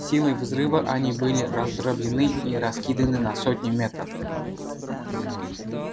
силой взрыва они были раздроблены и раскиданы на сотни метров